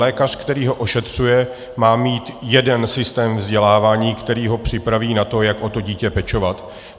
Lékař, který ho ošetřuje, má mít jeden systém vzdělávání, který ho připraví na to, jak o to dítě pečovat.